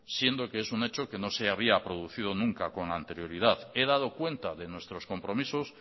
siendo que es un hecho que no se habido producido nunca con anterioridad he dado cuenta de nuestros compromisos